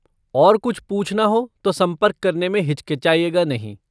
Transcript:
और कुछ पूछना हो तो संपर्क करने में हिचकिचाइएगा नहीं।